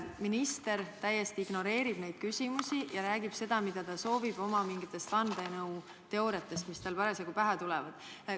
Minister täiesti ignoreerib neid küsimusi ja räägib seda, mida ta soovib – oma mingitest vandenõuteooriatest, mis tal parasjagu pähe tulevad.